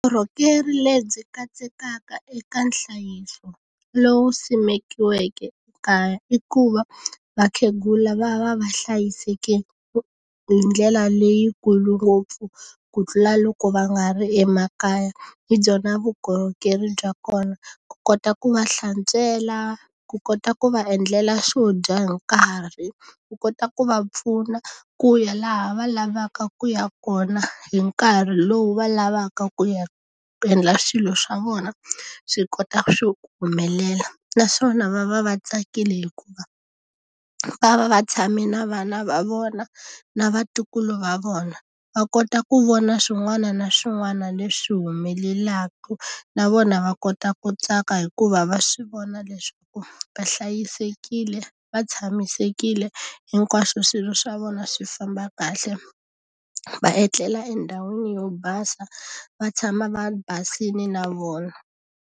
Vukorhokeri lebyi katsekaka eka nhlayiso lowu simekiweke ekaya i ku va, vakhegula va va va hlayiseke hi ndlela leyikulu ngopfu ku tlula loko va nga ri emakaya. Hi byona vukorhokeri bya kona. Ku kota ku va hlantswela, ku kota ku va endlela swo dya hi nkarhi, ku kota ku va pfuna ku ya laha va lavaka ku ya kona hi nkarhi lowu va lavaka ku ya ku endla swilo swa vona swi kota ku humelela. Naswona va va va tsakile hikuva va va va tshame na vana va vona na vatukulu va vona, va kota ku vona swin'wana na swin'wana leswi humelelaka. Na vona va kota ku tsaka hikuva va swi vona leswaku va hlayisekile, va tshamisekile, hinkwaxo swilo swa vona swi famba kahle, va etlela endhawini yo basa, va tshama va basile na vona.